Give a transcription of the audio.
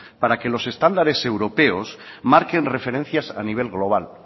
para que los estándares europeos marquen referencias a nivel global